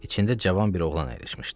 İçində cavan bir oğlan əyləşmişdi.